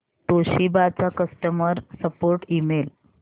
Toshiba चा customer support email